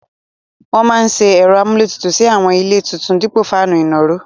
Wọ́n máa se ẹ̀rọ amúlétutù sí àwọn ilé tuntun dípò fáànù ìnàró.